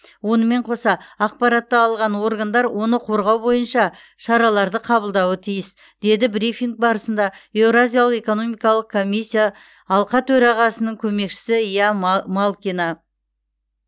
онымен қоса ақпаратты алған органдар оны қорғау бойынша шараларды қабылдауы тиіс деді брифинг барысында еуразиялық экономикалық комиссия алқа төрағасының көмекшісі ия ма малкина